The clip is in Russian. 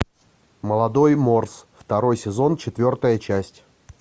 молодой морс второй сезон четвертая часть